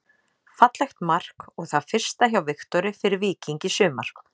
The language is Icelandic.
Fallegt mark og það fyrsta hjá Viktori fyrir Víking í sumar.